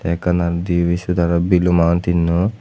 ekanan dibe sedarot belum awoon tinno.